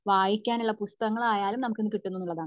വായിക്കാൻ ഉള്ള പുസ്തകങ്ങളായാലും നമുക് ഇപ്പൊ കിട്ടുന്നു